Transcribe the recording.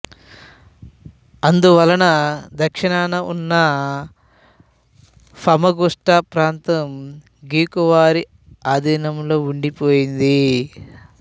అందువలన దక్షిణాన ఉన్న ఫమగుస్టా ప్రాంతం గ్రీకు వారి అధీనంలో ఉండిపోయింది